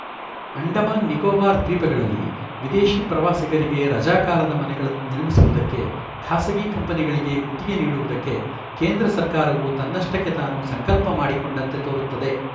ಅಂಡಮಾನ್ ನಿಕೋಬಾರ್‌ ದ್ವೀಪಗಳಲ್ಲಿ ವಿದೇಶಿ ಪ್ರವಾಸಿಗರಿಗೆ ರಜಾಕಾಲದ ಮನೆಗಳನ್ನು ನಿರ್ಮಿಸುವುದಕ್ಕೆ ಖಾಸಗಿ ಕಂಪನಿಗಳಿಗೆ ಗುತ್ತಿಗೆ ನೀಡುವುದಕ್ಕೆ ಕೇಂದ್ರ ಸರ್ಕಾರವು ತನ್ನಷ್ಟಕ್ಕೆ ತಾನು ಸಂಕಲ್ಪ ಮಾಡಿಕೊಂಡಂತೆ ತೋರುತ್ತದೆ